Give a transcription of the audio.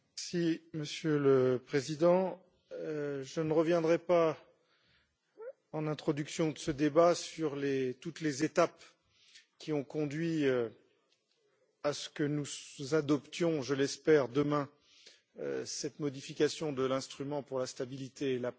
Monsieur le président, je ne reviendrai pas, en introduction de ce débat, sur toutes les étapes qui ont conduit à ce que nous adoptions, je l'espère, demain cette modification de l'instrument pour la stabilité et la paix.